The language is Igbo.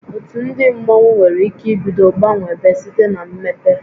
Otu ndị mmọnwu nwere ike ibido gbanwebe site na mmepe